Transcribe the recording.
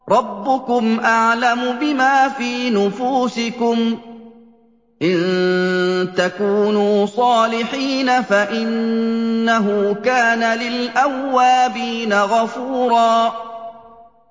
رَّبُّكُمْ أَعْلَمُ بِمَا فِي نُفُوسِكُمْ ۚ إِن تَكُونُوا صَالِحِينَ فَإِنَّهُ كَانَ لِلْأَوَّابِينَ غَفُورًا